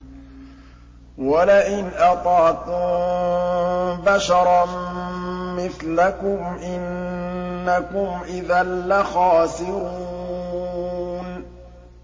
وَلَئِنْ أَطَعْتُم بَشَرًا مِّثْلَكُمْ إِنَّكُمْ إِذًا لَّخَاسِرُونَ